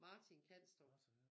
Martin Kanstrup